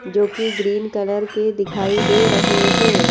जो कि green colour के दिखाई दे रहे है।